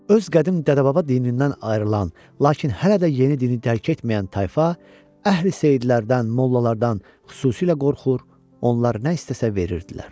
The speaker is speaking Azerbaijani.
Öz qədim dədə-baba dinindən ayrılan, lakin hələ də yeni dini tərk etməyən tayfa əhli seyidlərdən, mollalardan xüsusilə qorxur, onlar nə istəsə verirdilər.